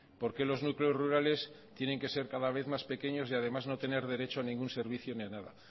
por qué los núcleos rurales tienen que ser cada vez más pequeños y además no tener derecho a ningún servicio y a nada